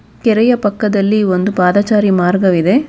ಕೆರೆಯ ಪಕ್ಕದಲ್ಲಿ ಒಂದು ಪಾದಚಾರಿ ಮಾರ್ಗವಿದೆ.